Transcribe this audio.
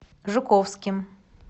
жуковским